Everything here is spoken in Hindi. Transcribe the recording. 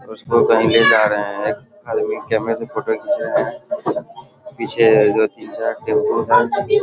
उसको कहीं ले जा रहे हैं एक आदमी कैमरा से फोटो खींच रहे हैं पीछे दो तीन चार टेबुल है।